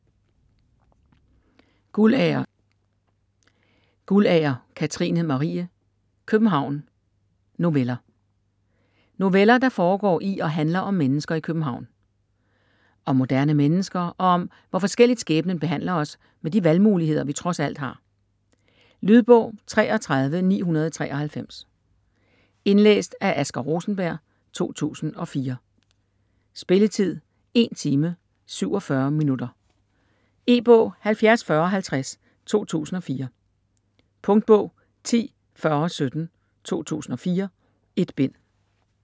Guldager, Katrine Marie: København: noveller Noveller, der foregår i og handler om mennesker i København. Om moderne mennesker og om, hvor forskelligt skæbnen behandler os med de valgmuligheder, vi trods alt har. Lydbog 33993 Indlæst af Asger Rosenberg, 2004. Spilletid: 1 time, 47 minutter. E-bog 704050 2004. Punktbog 104017 2004. 1 bind.